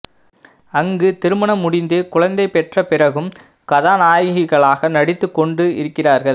அங்கு திருமணம் முடிந்து குழந்தை பெற்ற பிறகும் கதாநாயகிகளாக நடித்துக்கொண்டு இருக்கிறார்கள்